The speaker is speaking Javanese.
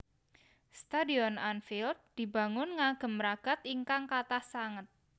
Stadion Anfield dibangun ngagem ragad ingkang kathah sanget